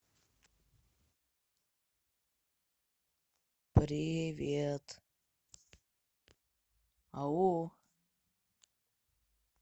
привет ау